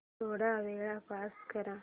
थोडा वेळ पॉझ कर